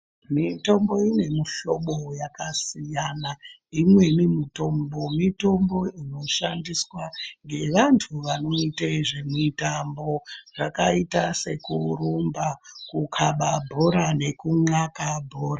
Mitombo iyi mihlobo yakasiyana. Imweni mitombo, mitombo inoshandiswa ngevanthu vanoyite zvemutambo zvakayita sekurumba, kukhaba bhora nekunxaka bhora.